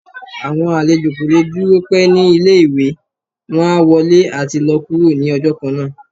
awọn alèjọ ko le dúró pẹ̀ ni ìlé-ìwé, wọn á wọlé ati lọ kúro ni ọjọ kánńa.